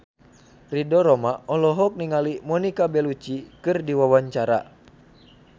Ridho Roma olohok ningali Monica Belluci keur diwawancara